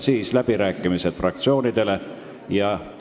Seejärel toimuvad fraktsioonide läbirääkimised.